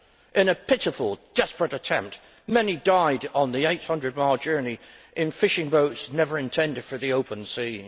In a pitiful, desperate attempt many died on the 800 mile journey in fishing boats never intended for the open sea.